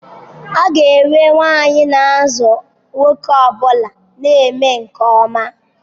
A ga-enwe nwanyị n'azụ nwoke ọ bụla na-eme nke ọma.